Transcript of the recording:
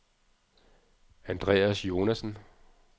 Andreas Jonassen